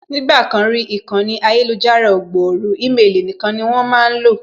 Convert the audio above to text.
Nígbà kan rí, ìkànnì ayélujára ò gbòòrò ímelì nīkan ni wón máá lò